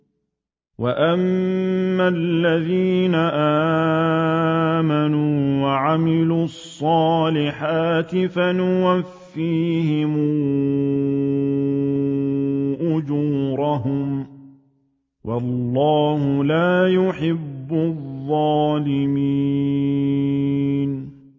وَأَمَّا الَّذِينَ آمَنُوا وَعَمِلُوا الصَّالِحَاتِ فَيُوَفِّيهِمْ أُجُورَهُمْ ۗ وَاللَّهُ لَا يُحِبُّ الظَّالِمِينَ